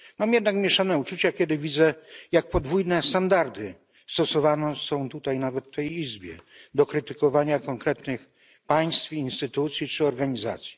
Mam jednak mieszane uczucia, kiedy widzę, jak podwójne standardy stosowane są tutaj, nawet w tej Izbie, do krytykowania konkretnych państw, instytucji czy organizacji.